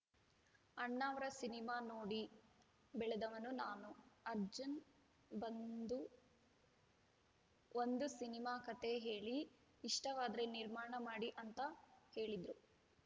ಅಣ್ಣಾವ್ರ cinema ನೋಡಿ ಬೆಳೆದವನು ನಾನು ಅರ್ಜುನ್‌ ಬಂದು ಒಂದು ಸಿನಿಮಾ ಕತೆ ಕೇಳಿ ಇಷ್ಟವಾದ್ರೆ ನಿರ್ಮಾಣ ಮಾಡಿ ಅಂತ ಹೇಳಿದ್ರು